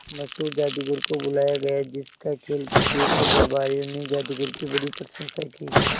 एक मशहूर जादूगर को बुलाया गया जिस का खेल देखकर दरबारियों ने जादूगर की बड़ी प्रशंसा की